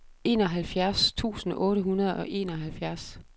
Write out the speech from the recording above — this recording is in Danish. enoghalvfjerds tusind otte hundrede og enoghalvfjerds